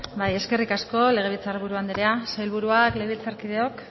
bai eskerrik asko legebiltzar buru andrea sailburuak legebiltzarkideok